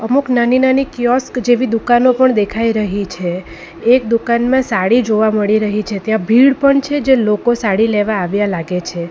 અમુક નાની નાની કિઓસ્ક જેવી દુકાનો પણ દેખાઈ રહી છે એક દુકાનમાં સાડી જોવા મળી રહી છે ત્યાં ભીડ પણ છે જે લોકો સાડી લેવા આવ્યા લાગે છે.